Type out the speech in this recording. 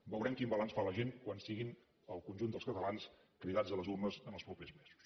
veurem quin balanç fa la gent quan siguin el conjunt dels catalans cridats a les urnes en els propers mesos